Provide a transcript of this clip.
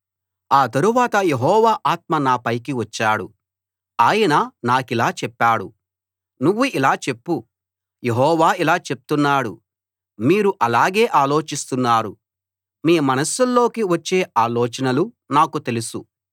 ఆ తరువాత యెహోవా ఆత్మ నా పైకి వచ్చాడు ఆయన నాకిలా చెప్పాడు నువ్వు ఇలా చెప్పు యెహోవా ఇలా చెప్తున్నాడు మీరు అలాగే ఆలోచిస్తున్నారు మీ మనస్సుల్లోకి వచ్చే ఆలోచనలు నాకు తెలుసు